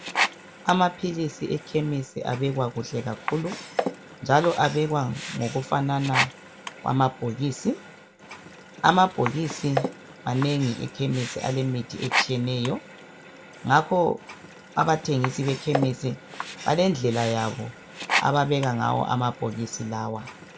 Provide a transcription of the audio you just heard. Amaphilisi ekhemisi abekwa kuhle kakhulu njalo abekwa ngokufanana kwamabhokisi, amabhokisi manengi ekhemisi alemithi etshiyeneyo ngakho abathengisi bekhemisi balendlela yabo ababeka ngayo amabhokisi lawa.